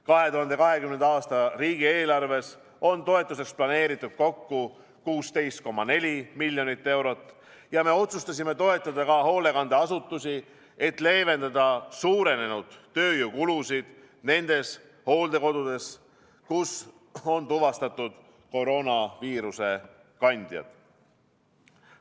2020. aasta riigieelarves on toetuseks planeeritud kokku 16,4 miljonit eurot ja me otsustasime toetada ka hoolekandeasutusi, et leevendada suurenenud tööjõukulusid nendes hooldekodudes, kus on tuvastatud koroonaviiruse kandjad.